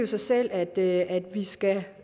sig selv at vi skal